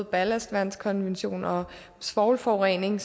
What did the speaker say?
ballastvandkonventionen og svovlforurening